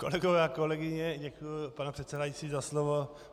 Kolegové a kolegyně - děkuji, pane předsedající, za slovo.